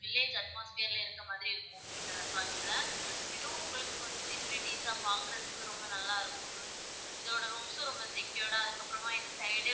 Village atmosphere ல இருக்குற மாரி இருக்கும் இந்த resort ல இதுவும் உங்களுக்கும் கொஞ்சம் facilities சா பாக்குறதுக்கு ரொம்ப நல்லா இருக்கும் இதோட rooms சும் ரொம்ப secured டா அதுக்கு அப்பறமா இந்த side,